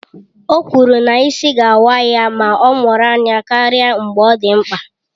O kwuru na ịsị ga-awa ya ma ọ mụrụ anya karịa mgbe ọ dị mkpa